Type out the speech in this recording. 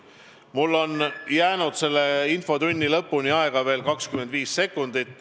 Mul on jäänud selle infotunni lõpuni aega veel 25 sekundit.